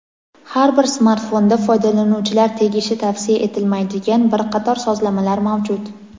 Har bir smartfonda foydalanuvchilar tegishi tavsiya etilmaydigan bir qator sozlamalar mavjud.